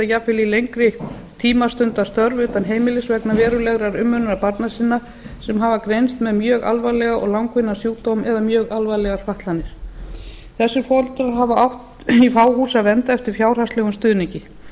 jafnvel í lengri tíma stundað störf utan heimilis vegna verulegrar umönnunar barna sinna sem hafa greinst með mjög alvarlega og langvinna sjúkdóma eða mjög alvarlegar fatlanir þessir foreldrar hafa átt í fá hús að venda eftir fjárhagslegum stuðningi þetta